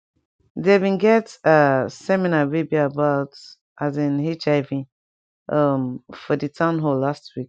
there been get ah seminar wey be about as in hiv um for di town hall last week